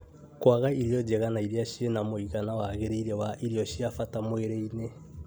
Kũaga irio njega na iria cie na mũigana wagĩrĩire wa irio cia bata mwĩrĩ-inĩ